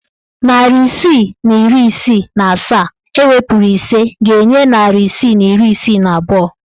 Narị isii na iri isii na asaa ewepuru ise ga-enye narị isii na iri isii na abụọ.